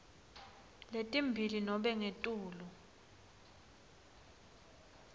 letimbili nobe ngetulu